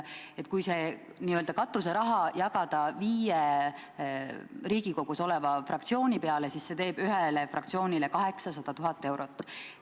Kui see n-ö katuseraha jagada viie Riigikogus oleva fraktsiooni peale, siis see teeb ühe fraktsiooni kohta 800 000 eurot.